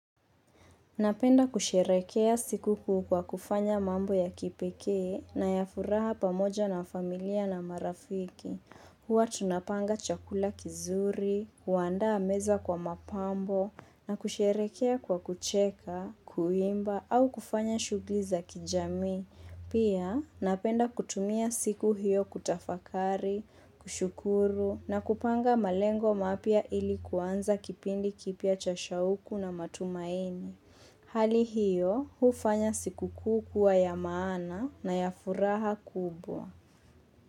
Napenda kusherekea siku kuu kwa kufanya mambo ya kipekee na ya furaha pamoja na familia na marafiki. Huwa tunapanga chakula kizuri, kuanda meza kwa mapambo na kusherekea kwa kucheka, kuimba au kufanya shugliza kijami. Pia napenda kutumia siku hiyo kutafakari, kushukuru na kupanga malengo mapya ili kuanza kipindi kipya cha shauku na matumaini. Hali hiyo, hufanya siku kukuu ya maana na ya furaha kubwa.